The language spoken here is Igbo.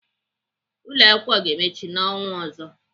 Ụlọakwụkwọ ga-emechi n'ọnwa ọzọ.